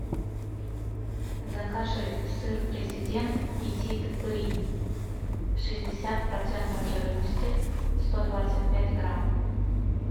закажи сыр президент петит бри шестьдесят процентов жирности сто двадцать пять грамм